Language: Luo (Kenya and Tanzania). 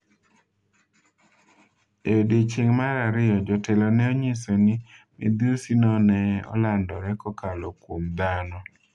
E odiechieng' mar ariyo, jotelo ne onyiso ni midhusi no ne olandore kokalo kuom dhano.